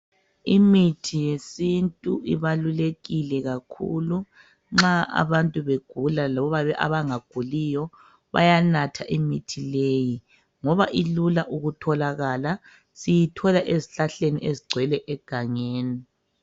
Imithi yesintu ibalulekile kakhulu .Nxa abantu begula loba abangaguliyo bayanatha imithi leyi ngoba ilula ukutholakala siyithola ezihlahleni ezigcwele egangeni .